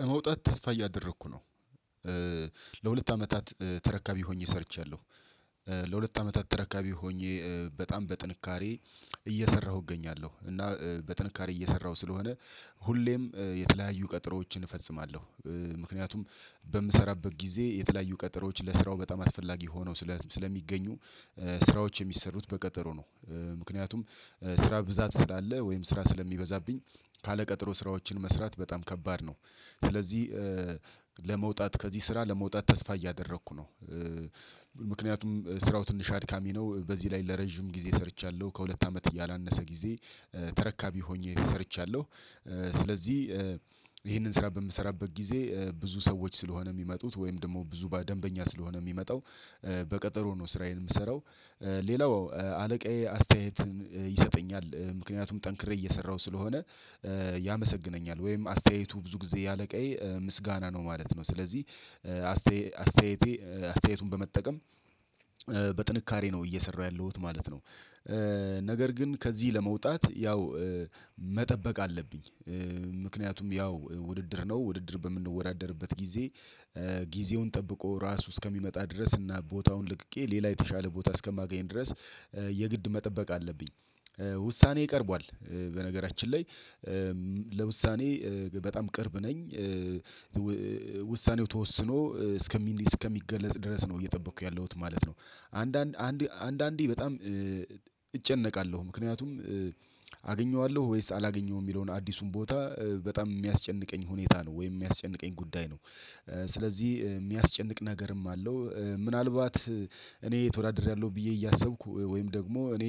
ለመውጣት ተስፋ እያደረኩ ነው። ለሁለት አመታት ተረካቢ ሆኜ ሰርቻለሁ። ለሁለት አመታት ተረካቢ ሆኜ በጣም በጥንካሬ እየሰራሁ እገኛለሁ እና በጥንካሬ እየሰራሁ ስለሆነ ሁሌም የተለያዩ ቀጠሮዎችን እፈጽማለሁ። ምክንያቱም በምሰራበት ጊዜ የተለያዩ ቀጠሮዎች ለስራው በጣም አስፈላጊ ሆነው ስለሚገኙ። ስራዎች የሚሰሩት በቀጠሮ ነው። ምክንያቱም ስራ ብዛት ስላለ ወይም ስራ ስለሚበዛብኝ ካለቀጠሮ ስራዎችን መስራት በጣም ከባድ ነው። ስለዚህ ለመውጣት ከዚህ ስራ ለመውጣት ተስፋ እያደረኩ ነው። ምክንያቱም ስራው ትንሽ አድካሚ ነው በዚህ ላይ ለረጅም ጊዜ ሰርቻለሁ ከሁለት አመት ያላነሰ ጊዜ ተረካቢ ሆኜ ሰርቻለሁ። ስለዚህ ይሄንን ስራ በምሰራበት ጊዜ ብዙ ሰዎች ስለሆነ የሚመጡት ወይም ደግሞ ብዙ ደንበኛ ስለሆነ የሚመጣው በቀጠሮ ነው ስራዬን የምሰራው። ሌላው አለቃዬ አስተያየት ይሰጠኛል ምክንያቱም ጠንክሬ እየሰራሁ ስለሆነ ያመሰግነኛል ወይም አስተያየቱ ብዙ ጊዜ ያለ ቀይ ምስጋና ነው ማለት ነው። ስለዚህ አስተያየቴ አስተያየቱን በመጠቀም በጥንካሬ ነው እየሰራሁ ያለሁት ማለት ነው። ነገር ግን ከዚህ ለመውጣት ያው መጠበቅ አለብኝ። ምክንያቱም ያው ውድድር ነው ውድድር በምንወዳደርበት ጊዜ ጊዜውን ጠብቆ ራሱ እስከሚመጣ ድረስ እና ቦታውን ልቅቄ ሌላ የተሻለ ቦታ እስከማገኝ ድረስ የግድ መጠበቅ አለብኝ። ውሳኔዬ ቀርቧል በነገራችን ላይ ለውሳኔ በጣም ቅርብ ነኝ። ውሳኔው ተወስኖ እስከሚገለጽ ድረስ ነው እየጠበኩ ያለሁት ማለት ነው። አንዳንድ አንድ አንዳንዴ በጣም እጨነቃለሁ ምክንያቱም አገኘዋለሁ ወይስ አላገኘውም የሚለውን አዲሱን ቦታ በጣም የሚያስጨንቀኝ ሁኔታ ነው ወይስ የሚያስጨንቀኝ ጉዳይ ነው። ስለዚህ የሚያስጨንቅ ነገርም አለው። ምናልባት እኔ ተወዳድሬያለሁ ብዬ እያሰብኩ ወይም ደግሞ እኔ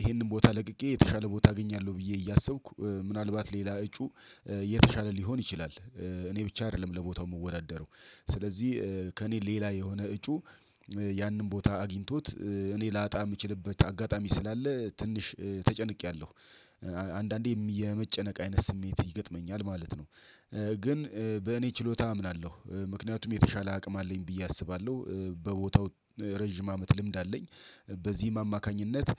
ይሄንን ቦታ ለቅቄ የተሻለ ቦታ አገኛለሁ ብዬ እያሰብኩ ምናልባት ሌላ እጩ የተሻለ ሊሆን ይችላል። እኔ ብቻ አይደለም ለቦታው የምወዳደረው ስለዚህ ከእኔ ሌላ የሆነ እጩ ያንን ቦታ አግኝቶት እኔ ላጣ የምችልበት አጋጣሚ ስላለ ትንሽ ተጨንቄያለሁ። አንዳንዴ የመጨነቅ አይነት ስሜት ይገጥመኛል ማለት ነው። ግን በእኔ ችሎታ አምናለሁ ምክንያቱም የተሻለ አቅም አለኝ ብዬ አስባለሁ በቦታው ረጅም አመት ልምድ አለኝ። በዚህም አማካኝነት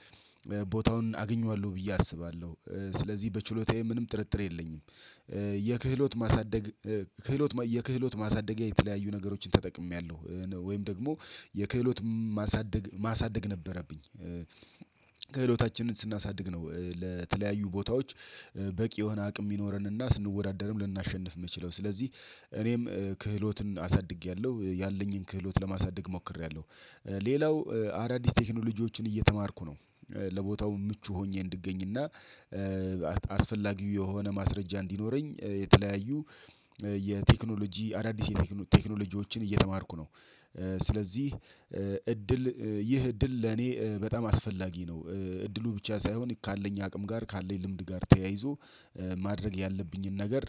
ቦታውን አግኘዋለሁ ብዬ አስባለሁ ስለዚህ በችሎታዬ ምንም ጥርጥር የለኝም። የክህሎት ማሳደግ ክህሎት የክህሎት ማሳደጊያ የተለያዩ ነገሮችን ተጠቅሜያለሁ ወይም ደግሞ የክህሎት ማሳደግ ማሳደግ ነበረብኝ። ክህሎታችንን ስናሳድግ ነው ለተለያዩ ቦታዎች በቂ የሆነ አቅም ሚኖረን እና ስንወዳደርም ልናሸንፍ የምችለው ስለዚህ እኔም ክህሎትን አሳድጌያለሁ። ያለኝን ክህሎት ለማሳደግ ሞክሬያለሁ። ሌላው አዳዲስ ቴክኖሎጂዎችን እየተማርኩ ነው። ለቦታው ምቹ ሆኜ እንድገኝ እና አስፈላጊው የሆነ ማስረጃ እንዲኖረኝ የተለያዩ የቴክኖሎጂ አዳዲስ የቴክኖሎጂዎችን እየተማርኩ ነው። ስለዚህ እድል ይህ እድል ለኔ በጣም አስፈላጊ ነው እድሉ ብቻ ሳይሆን ካለኝ አቅም ጋር ካለኝ ልምድ ጋር ተያይዞ ማድረግ ያለብኝን ነገር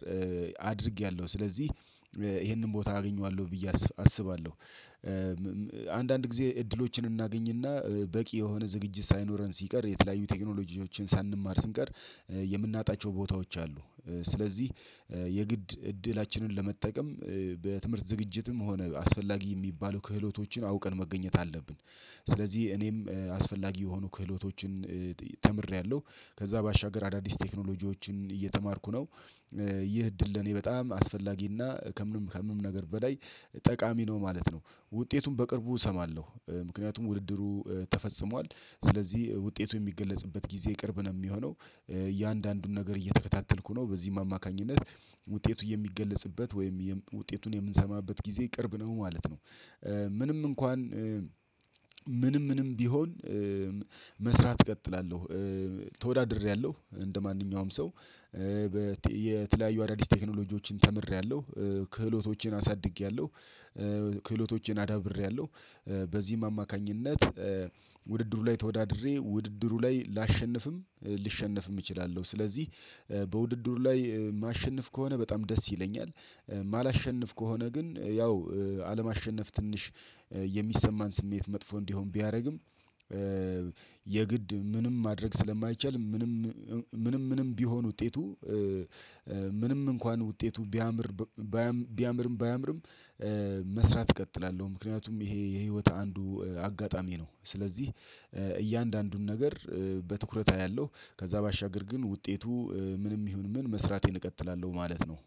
አድርጌያለሁ ስለዚህ ይሄንን ቦታ አገኘዋለሁ ብዬ አስባለሁ። አንዳንድ ጊዜ እድሎችን እናገኝ እና በቂ የሆነ ዝግጅት ሳይኖረን ሲቀር የተለያዩ ቴክኖሎጂዎችን ሳንማር ስንቀር የምናጣቸው ቦታዎች አሉ። ስለዚህ የግድ እድላችንን ለመጠቀም በትምህርት ዝግጅትም ሆነ አስፈላጊ የሚባሉ ክህሎቶችን አውቀን መገኘት አለብን። ስለዚህ እኔም አስፈላጊ የሆኑ ክህሎቶችን ተምሬያለሁ ከዛ ባሻገር አዳዲስ ቴክኖሎጂዎችን እየተማርኩ ነው። ይህ እድል ለኔ በጣም አስፈላጊና ከምንም ከምንም ነገር በላይ ጠቃሚ ነው ማለት ነው። ውጤቱን በቅርቡ እሰማለሁ ምክንያቱም ውድድሩ ተፈጽሟል። ስለዚህ ውጤቱ የሚገለጽበት ጊዜ ቅርብ ነው የሚሆነው። እያንዳንዱን ነገር እየተከታተልኩ ነው በዚህም አማካኝነት ውጤቱ የሚገለጽበት ወይም ውጤቱን የምንሰማበት ጊዜ ቅርብ ነው ማለት ነው። ምንም እንኳን ምንም ምንም ቢሆን መስራት እቀጥላለሁ። ተወዳድሬያለሁ እንደማንኛውም ሰው የተለያዩ አዳዲስ ቴክኖሎጂዎችን ተምሬያለሁ። ክህሎቶቼን አሳድጌያለሁ። ክህሎቶቼን አዳብሬያለሁ። በዚህም አማካኝነት ውድድሩ ላይ ተወዳድሬ ውድድሩ ላይ ላሸንፍም ልሸነፍም እችላለሁ። ስለዚህ በውድድሩ ላይ ማሸንፍ ከሆነ በጣም ደስ ይለኛል። ማላሸንፍ ከሆነ ግን ያው አለማሸነፍ ትንሽ የሚሰማን ስሜት መጥፎ እንዲሆን ቢያደርግም። የግድ ምንም ማድረግ ስለማይቻል ምንም ምንም ምንም ቢሆን ውጤቱ ምንም እንኳን ውጤቱ ቢያምር ቢያምርም ባያምርም መስራት እቀጥላለሁ። ምክንያቱም ይሄ የህይወት አንዱ አጋጣሚ ነው። ስለዚህ እያንዳንዱን ነገር በትኩረት አያለሁ። ከዛ ባሻገር ግን ውጤቱ ምንም ይሁን ምን መስራቴን እቀጥላለሁ ማለት ነው